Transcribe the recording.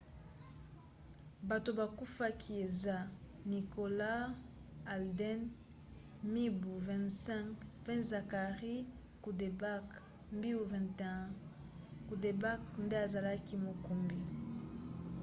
bato bakufaki eza nicholas alden mibu 25 mpe zachary cuddeback mbiu 21. cuddeback nde azalaki mokumbi